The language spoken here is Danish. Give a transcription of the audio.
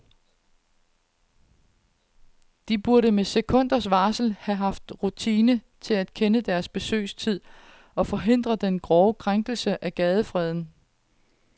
De burde med sekunders varsel have haft rutine til at kende deres besøgelsestid og forhindre den grove krænkelse af gadefreden.